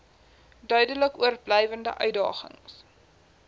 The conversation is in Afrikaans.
duidelik oorblywende uitdagings